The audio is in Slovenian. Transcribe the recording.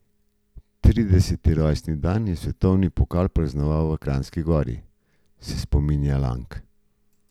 Trideseti rojstni dan je svetovni pokal praznoval v Kranjski Gori, se spominja Lang.